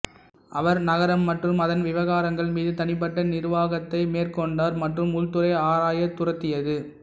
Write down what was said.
அவர் நகரம் மற்றும் அதன் விவகாரங்கள் மீது தனிப்பட்ட நிர்வாகத்தை மேற்கொண்டார் மற்றும் உள்துறை ஆராய துரத்தியது